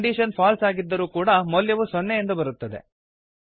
condition false ಆಗಿದ್ದರೂ ಕೂಡ ಮೌಲ್ಯವು ಸೊನ್ನೆ ಎಂದು ಬರುತ್ತದೆ